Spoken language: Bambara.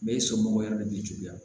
Bɛɛ somɔgɔw yɛrɛ de b'i juguya